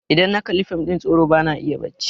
idan na Kalli fim ɗin tsoro ba na iya bacci